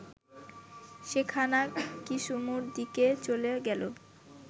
সেখানা কিসুমুর দিকে চলে গেল